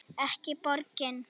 Ekki borgin.